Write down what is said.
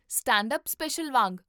stand up special ਵਾਂਗ